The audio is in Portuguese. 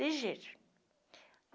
Legítimo.